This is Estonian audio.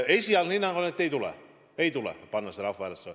Esialgne hinnang on, et ei tule: ei tule panna seda rahvahääletusele.